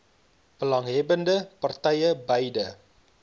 belanghebbbende partye beide